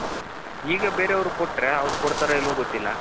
ಈಗ ಬೇರೆಯವರಿಗೆ ಕೊಟ್ಟ್ರೆ ಅವ್ರು ಕೊಡ್ತಾರೋ ಇಲ್ಲವೋ ಗೊತ್ತಿಲ್ಲ .